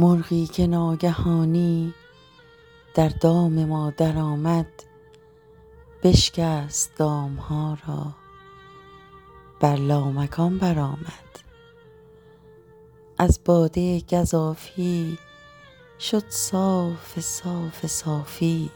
مرغی که ناگهانی در دام ما درآمد بشکست دام ها را بر لامکان برآمد از باده گزافی شد صاف صاف صافی